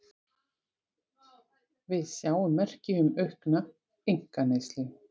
Við sjáum merki um aukna einkaneyslu